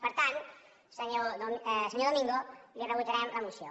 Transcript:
per tant senyor domingo li rebutjarem la moció